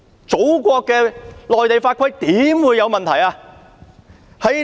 祖國內地的法規豈會有問題呢？